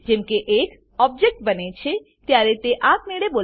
જેમ એક ઓબજેક્ટ બને છે ત્યારે તે આપમેળે બોલાવવામાં આવે છે